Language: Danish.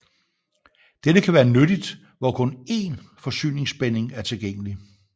Dette kan være nyttigt hvor kun én forsyningsspænding er tilgængelig